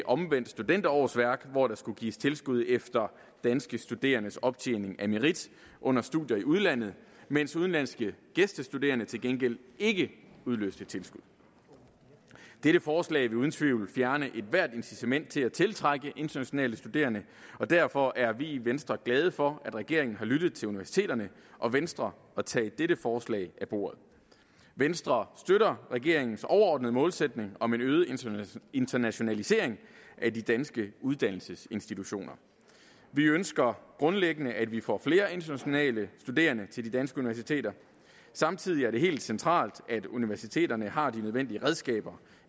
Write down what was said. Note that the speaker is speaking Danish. omvendt studenterårsværk hvor der skulle gives tilskud efter danske studerendes optjening af merit under studier i udlandet mens udenlandske gæstestuderende til gengæld ikke udløste tilskud det forslag vil uden tvivl fjerne ethvert incitament til at tiltrække internationale studerende og derfor er vi i venstre glade for at regeringen har lyttet til universiteterne og venstre og har taget dette forslag af bordet venstre støtter regeringens overordnede målsætning om en øget internationalisering af de danske uddannelsesinstitutioner vi ønsker grundlæggende at vi får flere internationale studerende til de danske universiteter samtidig er det helt centralt at universiteterne har de nødvendige redskaber